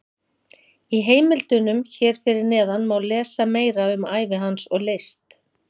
Í heimildunum hér fyrir neðan má lesa meira um ævi hans og list.